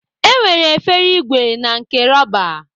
E nwere efere ìgwè na nke rọba.